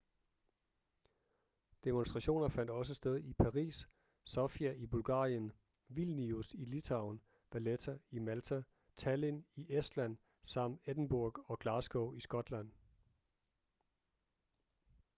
demonstrationer fandt også sted i paris sofia i bulgarien vilnius i litauen valetta i malta tallinn i estland samt edinburgh og glasgow i skotland